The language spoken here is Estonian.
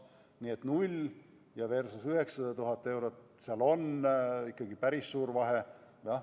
Nii et null eurot versus 900 000 eurot, seal on ikkagi päris suur vahe.